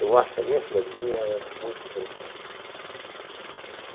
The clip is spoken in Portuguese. Eu acho que a minha cidadezinha era muito interessante.